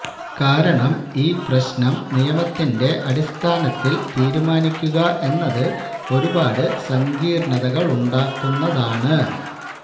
കാരണം ഈ പ്രശ്നം നിയമത്തിന്റെ അടിസ്ഥാനത്തില് തീരുമാനിക്കുക എന്നത് ഒരുപാട് സങ്കീര്ണതകളുണ്ടാക്കുന്നതാണ്